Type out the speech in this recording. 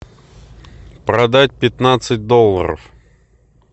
продать пятнадцать долларов